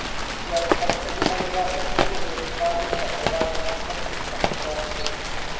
Sociální partneři mají zásadní úlohu ve vytváření a provádění opatření na hospodářskou obnovu.